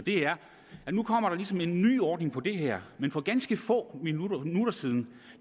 der så en ny ordning på det her men for ganske få minutter siden